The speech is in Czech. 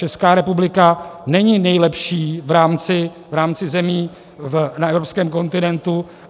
Česká republika není nejlepší v rámci zemí na evropském kontinentu.